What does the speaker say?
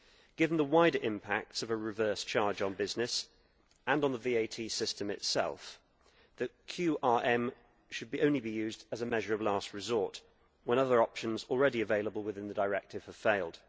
Given the wider impacts of a reversed charge on business, and on the VAT system itself, the QRM should only be used as a measure of last resort when other options already available within the directive have failed.